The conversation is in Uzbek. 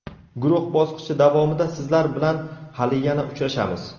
Guruh bosqichi davomida sizlar bilan hali yana uchrashamiz.